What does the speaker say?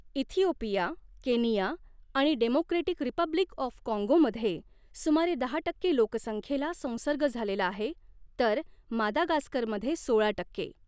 Ethiopia, Kenya आणि Democratic Republic of काँगोमध्ये सुमारे दहा टक्के लोकसंख्येला संसर्ग झालेला आहे, तर मादागास्करमध्ये सोळा टक्के.